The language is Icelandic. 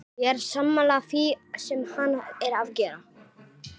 Ég er sammála því sem hann er að gera.